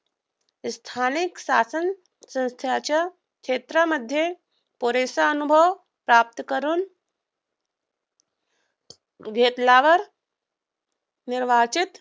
स्थानिक शासनसंस्थेच्या क्षेत्रामध्ये पुरेसा अनुभव प्राप्त करून घेतल्यावर मिळवायचेच.